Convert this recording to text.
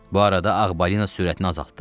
Bu arada ağ balina sürətini azaltdı.